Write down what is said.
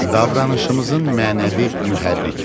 Davranışımızın mənəvi mühərrikləri.